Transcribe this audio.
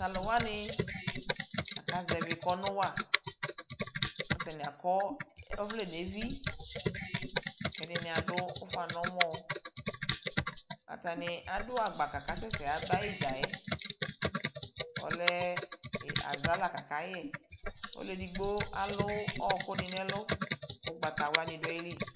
tʋ alʋwani aka zɛvi kɔnʋ wa, atani akɔ ɔvlɛ nʋ ɛvi, kʋ ɛdini adʋ ʋƒa nʋ ɛmɔ, atani adʋ agba kʋ atani asɛsɛ yaba itdzaɛ, ɔlɛ aza la kʋ aka yɛ, ɔlʋ ɛdigbɔ alʋ ɔkʋdi nʋ ɛlʋ kʋ ɔgbatawla dʋali